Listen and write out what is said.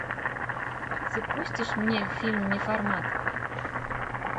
запустишь мне фильм неформат